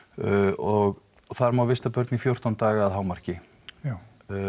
og þar má vista börn í fjórtán daga að hámarki já